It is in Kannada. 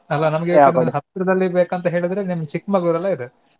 ಅಲ್ಲಾ ನಮಗೆ ಹತ್ರದಲ್ಲಿ ಬೇಕಂತ ಹೇಳಿದ್ರೆ ನಿಮ್ಗ್ Chikmagalur ಎಲ್ಲ ಇದೆ.